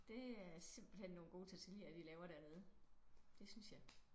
Det er simpelthen nogle gode tortilla de laver dernede det synes jeg